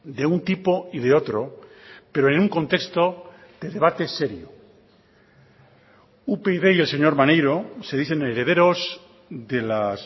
de un tipo y de otro pero en un contexto de debate serio upyd y el señor maneiro se dicen herederos de las